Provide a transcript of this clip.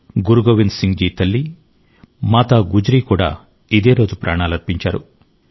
గురు గోవింద్ సింగ్ జీ తల్లి మాతా గుజ్రీ కూడా ఇదే రోజు ప్రాణాలర్పించారు